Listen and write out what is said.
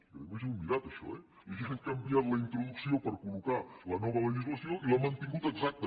jo a més ho he mirat això eh li han canviat la introducció per col·locar la nova legislació i l’han mantingut exacta